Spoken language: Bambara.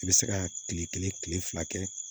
I bɛ se ka kile kelen kile fila kɛ